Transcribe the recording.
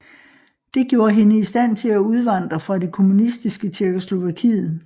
Det gjorde hende i stand til at udvandre fra det kommunistiske Tjekkoslovakiet